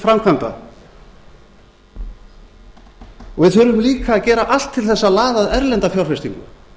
framkvæmda við þurfum líka að gera allt til þess að laða að erlenda fjárfestingu